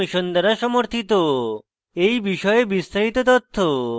এই বিষয়ে বিস্তারিত তথ্য এই link প্রাপ্তিসাধ্য